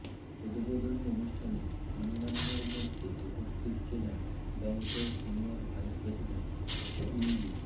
উদ্বোধনী অনুষ্ঠানে অন্যান্যের মধ্যে উপস্থিত ছিলেন ব্যাংকের সিনিয়র ভাইস প্রেসিডেন্ট ইঞ্জি